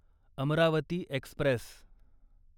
Amravati Express